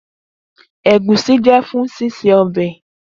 Egusi jẹ fun ṣiṣe ọbẹ.